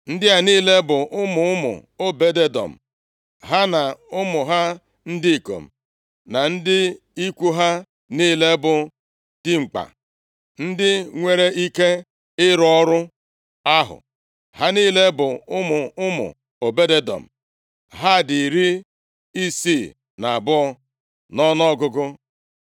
Ndị a niile bụ ụmụ ụmụ Obed-Edọm; ha na ụmụ ha ndị ikom, na ndị ikwu ha niile bụ dimkpa ndị nwere ike ịrụ ọrụ ahụ. Ha niile bụ ụmụ ụmụ Obed-Edọm. Ha dị iri isii na abụọ (62) nʼọnụọgụgụ.